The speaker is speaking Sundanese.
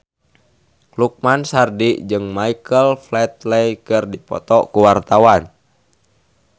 Lukman Sardi jeung Michael Flatley keur dipoto ku wartawan